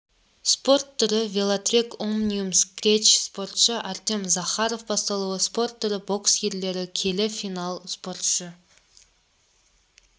спорт түрі велотрек омниум скретч спортшы артем захаров басталуы спорт түрі бокс ерлер келі финал спортшы